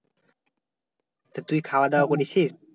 তা তুই খাওয়া-দাওয়া করেছিস?